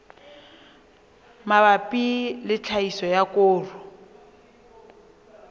mabapi le tlhahiso ya koro